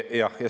Jah.